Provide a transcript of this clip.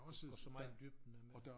Til at gå så meget i dybden med det